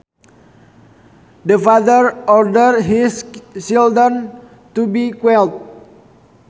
The father ordered his children to be quiet